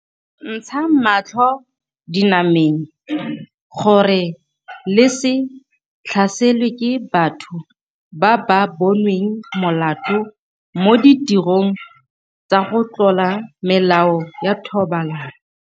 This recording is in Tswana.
Ntshang matlho dinameng gore le se tlhaselwe ke batho ba ba bonweng molato mo ditirong tsa go tlola melao ya thobalano.